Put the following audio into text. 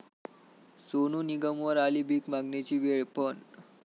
सोनू निगमवर आली भीक मागण्याची वेळ पण...